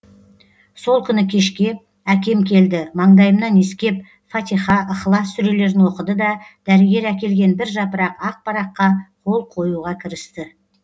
сол күні кешке әкем келді маңдайымнан иіскеп фатиха ыхлас сүрелерін оқыды да дәрігер әкелген бір жапырақ ақ параққа қол қоюға кірісті